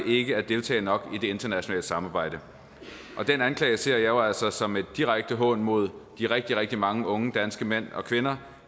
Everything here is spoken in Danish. ikke at deltage nok i det internationale samarbejde og den anklage ser jeg jo altså som en direkte hån mod de rigtig rigtig mange unge danske mænd og kvinder